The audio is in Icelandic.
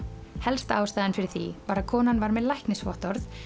helsta ástæðan fyrir því var að konan var með læknisvottorð